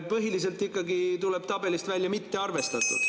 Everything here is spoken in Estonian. Põhiliselt ikkagi, tuleb tabelist välja "mitte arvestatud".